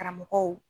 Karamɔgɔw